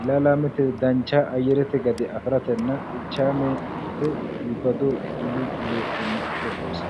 ilaalaamete dancha ayyerete gade afiratenna xeichaamete iibbillu heeranno qooxeessaati.